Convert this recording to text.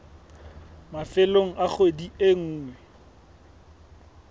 mafelong a kgwedi e nngwe